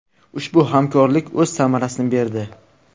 Ushbu hamkorlik o‘z samarasini berdi.